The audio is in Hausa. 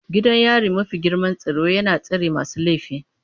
Gidan yari mafi girman tsaro yana tsare masu laifi.